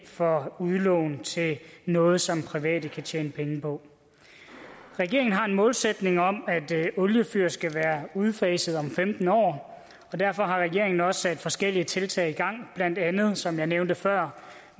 for udlån til noget som private kan tjene penge på regeringen har en målsætning om at oliefyr skal være udfaset om femten år og derfor har regeringen også sat forskellige tiltag i gang blandt andet med som jeg nævnte før